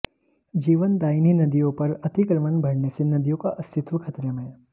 जीवनदायिनी नदियों पर अतिक्रमण बढ़ने से नदियों का अस्तित्व खतरे में